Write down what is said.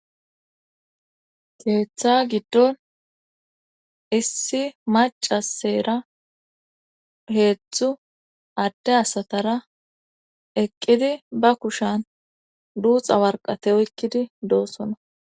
Keetha giddon issi macasera heedzdzu adde asatara eqqidi ba kushan duuxa warqate oykkidi doosona